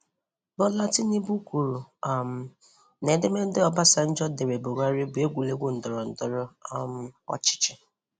Bola Tinubu kwuru um na edemede Obasanjo dere Buhari bụ egwuregwu ndọrọndọrọ um ọchịchị.